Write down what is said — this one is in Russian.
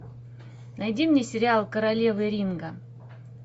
найди мне сериал королева ринга